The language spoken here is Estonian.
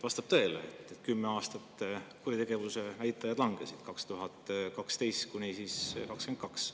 Vastab tõele, et kümme aastat, 2012–2022 kuritegevuse näitajad langesid.